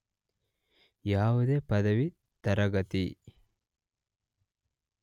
ಯಾವುದೇ ಪದವಿ ತರಗತಿ